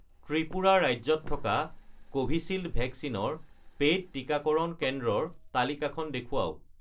ত্ৰিপুৰা ৰাজ্যত থকা কোভিচিল্ড ভেকচিনৰ পে'ইড টিকাকৰণ কেন্দ্ৰৰ তালিকাখন দেখুৱাওক।